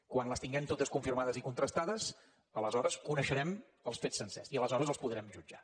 quan les tinguem totes confirmades i contrastades aleshores coneixerem els fets sencers i aleshores els podrem jutjar